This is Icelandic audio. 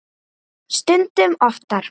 Stundum oftar.